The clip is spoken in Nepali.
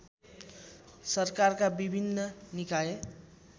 सरकारका विभिन्न निकाय